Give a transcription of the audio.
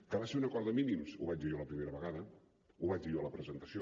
que va ser un acord de mínims ho vaig dir jo la primera vegada ho vaig dir jo a la presentació